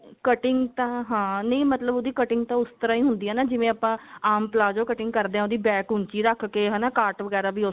cutting ਤਾਂ ਹਾਂ ਨਹੀਂ ਮਤਲਬ ਉਹਦੀ cutting ਤਾਂ ਉਸ ਤਰ੍ਹਾਂ ਹੀ ਹੁੰਦੀ ਹੈ ਨਾ ਜਿਵੇਂ ਆਪਾਂ ਆਮ palazzo cutting ਕਰਦੇ ਹਾਂ ਉਹਦੀ back ਊਂਚੀ ਰੱਖ ਕੇ ਹਨਾ ਕਾਟ ਵਗੇਰਾ ਵੀ ਉਸ ਤਰ੍ਹਾਂ